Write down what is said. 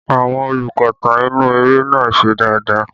Àwọn olùkópa inú eré náà ṣe dáadáa